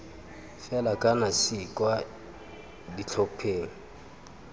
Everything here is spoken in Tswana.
fela kana c kwa ditlhopheng